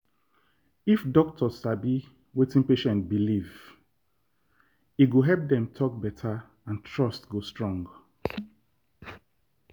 if doctor sabi wetin patient believe e go help dem talk better and trust go strong.